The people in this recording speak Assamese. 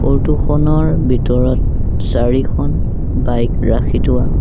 ফটো খনৰ ভিতৰত চাৰিখন বাইক ৰাখি থোৱা--